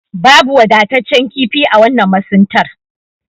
Babu wadatacce kifi a wannan masuntar.